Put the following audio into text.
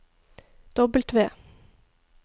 W